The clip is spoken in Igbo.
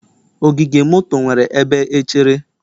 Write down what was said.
Ogige moto nwere ebe echere.